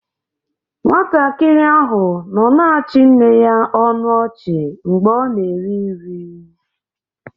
Nwatakịrị ahụ nọ na-achị nne ya ọnụ ọchị mgbe ọ na-eri nri.